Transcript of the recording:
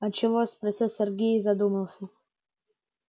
а чего спросил сергей и задумался